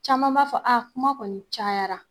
Caman b'a fɔ kuma kɔni cayara.